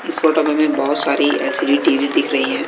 इस फोटो में भी बहुत सारी एल_सी_डी टी_वी दिख रही है।